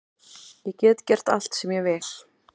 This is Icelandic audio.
Ég get gert allt sem ég vil